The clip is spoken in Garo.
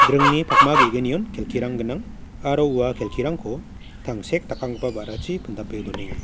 dringni pakma ge·gnion kelkirang gnang aro ua kelkirangko tangsek dakanggipa ba·rachi pindape donenga.